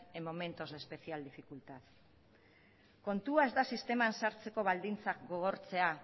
en momentos de especial dificultad kontua ez da sisteman sartzeko baldintzak gogortzea